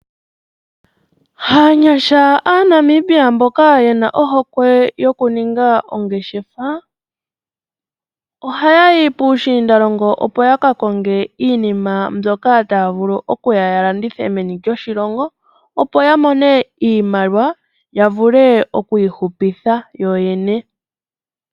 Aanyasha aaNamibia mboka ye na ohokwe yokuninga ongeshefa ohaya yi puushiinda longo opo yaka konge iinima mbyoka taye ya yalandithe meni lyoshilongo opo yakone iimaliwa yavule okwiihupitha yoyene.